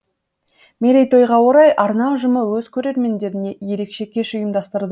мерейтойға орай арна ұжымы өз көрермендеріне ерекше кеш ұйымдастыр